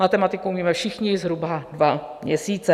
Matematiku umíme všichni - zhruba dva měsíce.